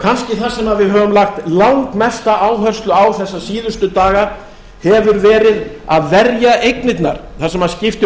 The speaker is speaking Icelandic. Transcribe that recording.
kannski það sem við höfum lagt langmesta áherslu á þessa síðustu daga hefur verið að verja eignirnar það sem skiptir